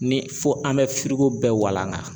Ni fo an bɛ bɛɛ walanga